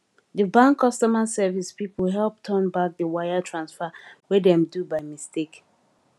di bank customer service people help turn back di wire transfer wey dem do by mistake